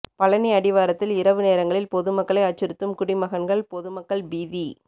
பழநி அடிவாரத்தில் இரவு நேரங்களில் பொதுமக்களை அச்சுறுத்தும் குடிமகன்கள் பொதுமக்கள் பீதி